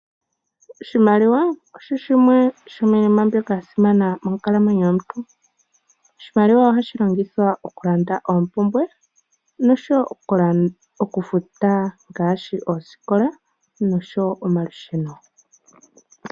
Oshimaliwa osho shimwe shomiinima mbyoka ya simana monkalamwenyo yomuntu. Oshimaliwa ohashi longithwa okulanda oompumbwe noshowo okufuta ngaashi oosikola noshowo omalusheno.